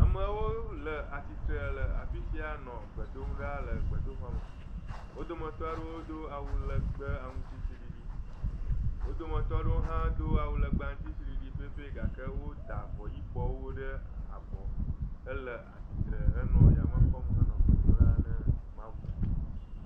Amewo le atsitre le afi sia nɔ gbe dom ɖa le gbedoxɔme. Wo dometɔ aɖewo do awu legbe aŋtsiɖiɖi. wo dometɔ aɖewo hã do wu legbe aŋtsiɖiɖi pɛpɛ gake woda avɔyibɔwo ɖe abɔ hele atsitre henɔ yame kpɔm henɔ gbe dom ɖa na Mawu.